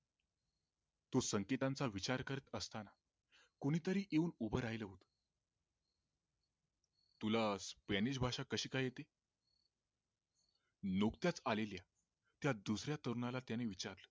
तो संकेतांचा विचार करत असताना कोणी तरी येऊन उभ राहील होत तुला स्पॅनिश भाषा कशी काय येते? नुकत्याच आलेल्या त्या दुसऱ्या तरुणाला त्याने विचारले